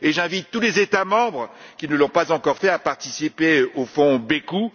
J'invite tous les États membres qui ne l'ont pas encore fait à participer au fonds Bêkou.